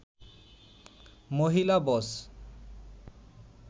মহিলা বস